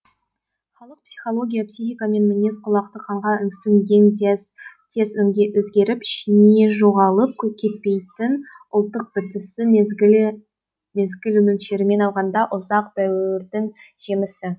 халық психология психика мен мінез құлақты қанға сіңген тез өзгеріп ішіне жоғалып кетпейтін ұлттық бітісі мезгілі мөлшерімен алғанда ұзақ дәуірдің жемісі